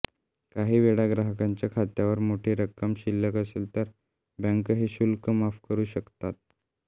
काही वेळा ग्राहकाच्या खात्यावर मोठी रक्कम शिल्लक असेल तर बँका हे शुल्क माफ करू शकतात